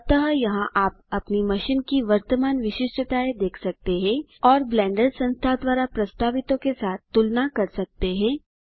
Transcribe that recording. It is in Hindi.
अतः यहाँ आप अपनी मशीन की वर्तमान विशिष्टताएँ देख सकते हैं और ब्लेंडर संस्था द्वारा प्रस्तावितों के साथ तुलना कर सकते हैं